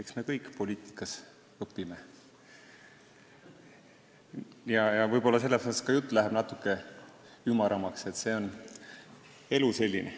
Eks me kõik poliitikas õpime, võib-olla sellepärast läheb ka jutt natuke ümaramaks, elu on selline.